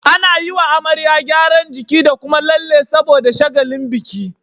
Ana yiwa amarya gyaran jiki da Kuma lalle saboda shagalin biki